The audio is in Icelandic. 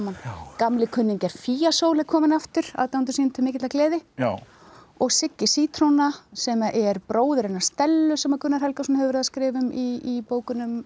gamlir kunningjar fíasól er komin aftur aðdáendum sínum til mikillar gleði og Siggi sítróna sem er bróðir hennar Stellu sem Gunnar Helgason hefur verið að skrifa um í bókunum